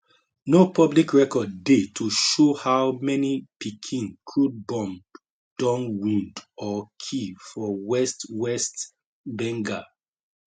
no public record dey to show how many pikin crude bomb don wound or kill for west west bengal